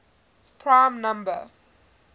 prime number